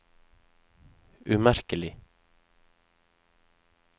umerkelig